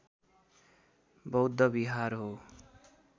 बौद्ध विहार हो